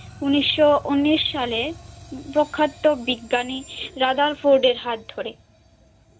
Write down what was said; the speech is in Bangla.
উনিশশো উনিশ সালে প্রখ্যাত বিজ্ঞানী রাদারফোর্ড এর হাত ধরে